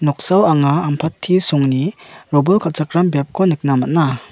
noksao anga ampati songni robol kal·chakram biapko nikna man·a.